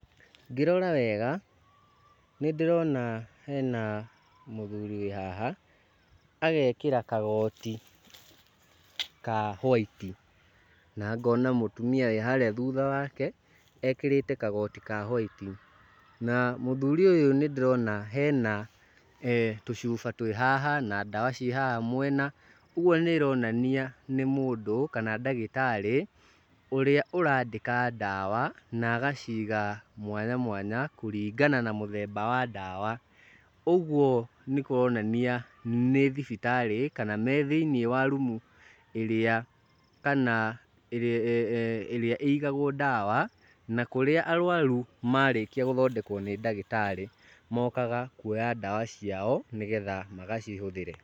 Ngĩrora wega, nĩndĩrona hena mũthuri wĩ haha, agekĩra kagoti ka whaiti, na ngona mũtumia wĩ harĩa thutha wake ekĩrĩte kagoti ka whaiti. Na mũthuri ũyũ nĩndĩrona hena tũcuba twĩ haha, na ndawa ciĩ haha mwena, ũguo nĩĩronania nĩ mũndũ kana ndagĩtarĩ ũrĩa ũrandĩka ndawa na agaciga mwanya mwanya kũringana na mũthemba wa ndawa. Ũguo nĩkũronania nĩ thibitarĩ kana me thĩiniĩ wa rumu ĩrĩa kana ĩrĩa ĩigagwo ndawa na kũrĩa arwaru marĩkia gũthondekwo nĩ ndagĩtarĩ mokaga kuoya ndawa ciao nĩgetha magacihũthĩre.